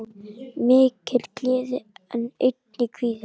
Mikil gleði en einnig kvíði.